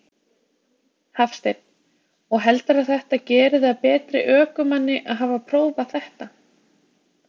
Hafsteinn: Og heldurðu að þetta geri þig að betri ökumanni að hafa prófað þetta?